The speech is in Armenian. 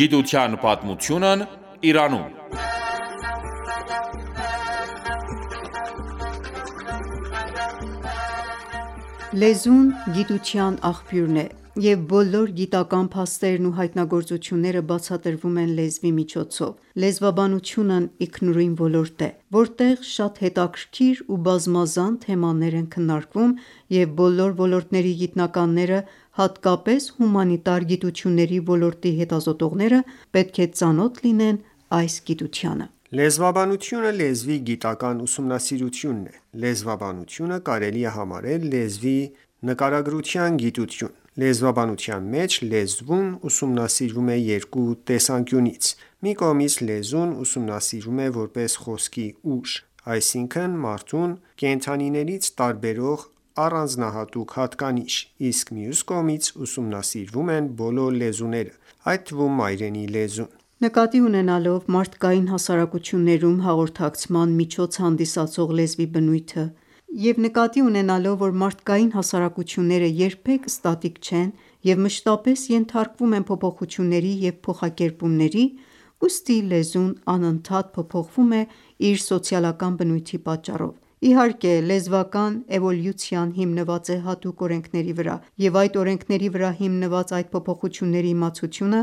Գիտության պատմությունն Իրանում (24) Լեզուն գիտության աղբյուրն է, և բոլոր գիտական փաստերն ու հայտնագործությունները բացատրվում են լեզվի միջոցով: Լեզվաբանությունն ինքնուրույն ոլորտ է, որտեղ շատ հետաքրքիր ու բազմազան թեմաներ են քննարկվում, և բոլոր ոլորտների գիտնականները, հատկապես հումանիտար գիտությունների ոլորտի հետազոտողները, պետք է ծանոթ լինեն այս գիտությանը։ Լեզվաբանությունը լեզվի գիտական ուսումնասիրությունն է։ Լեզվաբանությունը կարելի է համարել լեզվի նկարագրության գիտություն։ Լեզվաբանության մեջ լեզուն ուսումնասիրվում է երկու տեսանկյունից: Մի կողմից լեզուն ուսումնասիրվում է որպես խոսքի ուժ, այսինքն՝ մարդուն կենդանիներից տարբերող առանձնահատուկ հատկանիշ, իսկ մյուս կողմից ուսումնասիրվում են բոլոր լեզուները, այդ թվում՝ մայրենի լեզուն։ Նկատի ունենալով մարդկային հասարակություններում հաղորդակցման միջոց հանդիսացող լեզվի բնույթը և նկատի ունենալով, որ մարդկային հասարակությունները երբեք ստատիկ չեն և մշտապես ենթարկվում են փոփոխությունների և փոխակերպումների, ուստի լեզուն անընդհատ փոփոխվում է իր սոցիալական բնույթի պատճառով։ Իհարկե, լեզվական էվոլյուցիան հիմնված է հատուկ օրենքների վրա, և այդ օրենքների վրա հիմնված այդ փոփոխությունների իմացությունը